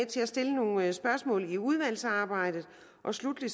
til at stille nogle spørgsmål i udvalgsarbejdet og sluttelig